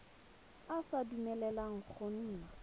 e sa dumeleleng go nna